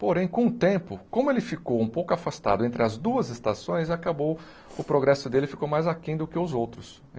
Porém, com o tempo, como ele ficou um pouco afastado entre as duas estações, acabou... o progresso dele ficou mais aquém do que os outros.